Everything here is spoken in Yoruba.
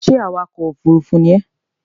Ṣé awakọ̀ òfúrúúfú ni ẹ?